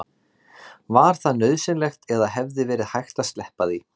Var það nauðsynlegt eða hefði verið hægt að sleppa því?